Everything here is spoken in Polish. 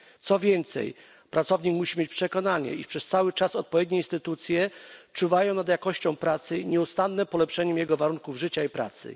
Co więcej, pracownik musi mieć przekonanie, iż przez cały czas odpowiednie instytucje czuwają nad jakością pracy i nieustannym polepszaniem jego warunków życia i pracy.